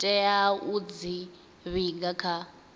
tea u dzi vhiga kha